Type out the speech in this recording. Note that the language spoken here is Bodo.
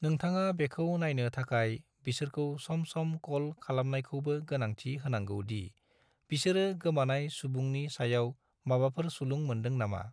नोंथाङा बेखौ नायनो थाखाय बिसोरखौ सम सम क'ल खालामनायखौबो गोनांथि होनांगौ दि बिसोरो गोमानाय सुबुंनि सायाव माबाफोर सुलुं मोन्दों नामा।